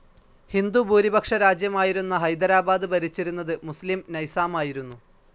ഹിന്ദുഭൂരിപക്ഷ രാജ്യമായിരുന്ന ഹൈദരാബാദ് ഭരിച്ചിരുന്നത് മുസ്‌ലിം നൈസാമായിരുന്നു.